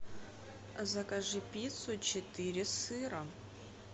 закажи пиццу четыре сыра